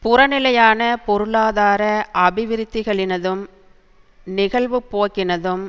புறநிலையான பொருளாதார அபிவிருத்திகளினதும் நிகழ்வுப்போக்கினதும்